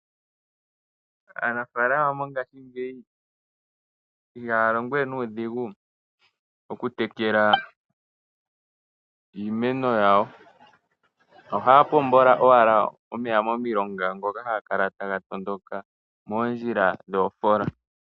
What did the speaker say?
Aanafaalama mongashingeyi ihaya longo we nuudhigu oku tekela iimeno yawo . Ohaya pombo owala omeya momilonga ngoka haga kala taga matuka moondjila dhoofoola.